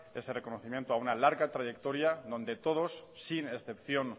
ese reconocimiento a una larga trayectoria donde todos sin excepción